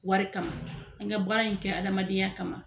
Wari kama an ka baara in kɛ adamadenya kama.